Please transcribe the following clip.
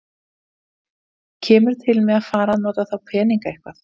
Haukur: Kemur til með að fara að nota þá peninga eitthvað?